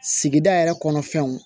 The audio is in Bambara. Sigida yɛrɛ kɔnɔ fɛnw